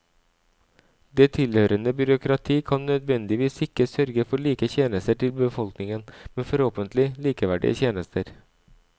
Det tilhørende byråkrati kan nødvendigvis ikke sørge for like tjenester til befolkningen, men forhåpentlig likeverdige tjenester.